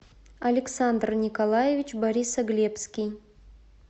александр николаевич борисоглебский